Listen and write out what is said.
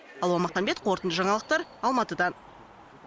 алуа маханбет қорытынды жаңалықтар алматыдан